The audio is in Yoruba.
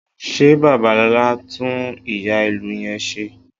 Ṣé Babalọlá ń tún ìyá-ìlù yẹn ṣe?